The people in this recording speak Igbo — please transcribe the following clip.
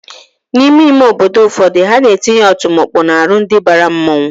N'ime ime obodo ụfọdụ, ha na-etinye ọtụmọkpọ n'aru ndi bara mmanwụ